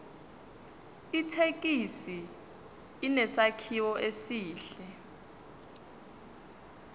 ithekisi inesakhiwo esihle